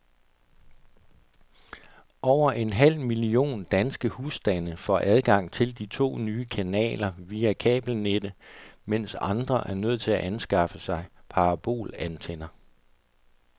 Over en halv million danske husstande får adgang til de to nye kanaler via kabelnettet, mens andre er nødt til at anskaffe sig parabolantenner.